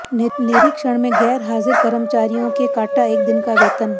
निरीक्षण में गैर हाजिर कर्मचारियों के काटा एक दिन का वेतन